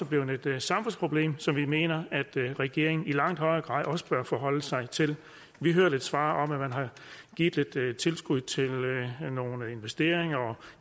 blevet et samfundsproblem som vi mener at regeringen i langt højere grad bør forholde sig til vi hørte et svar om at man har givet lidt tilskud til nogle investeringer og